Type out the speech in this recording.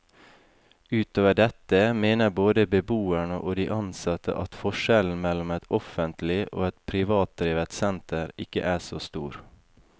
Utover dette mener både beboerne og de ansatte at forskjellen mellom et offentlig og et privatdrevet senter ikke er så stor.